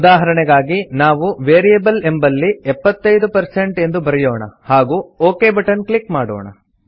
ಉದಾಹರಣೆಗಾಗಿ ನಾವು ವೇರಿಯಬಲ್ ಎಂಬಲ್ಲಿ 75 ಎಂದು ಬರೆಯೋಣ ಹಾಗೂ ಒಕ್ ಬಟನ್ ಕ್ಲಿಕ್ ಮಾಡೋಣ